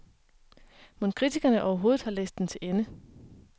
Mon kritikerne overhovedet har læst den til ende?